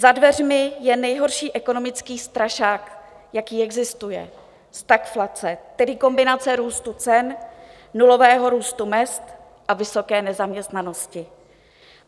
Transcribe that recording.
Za dveřmi je nejhorší ekonomický strašák, jaký existuje, stagflace, tedy kombinace růstu cen, nulového růstu mezd a vysoké nezaměstnanosti.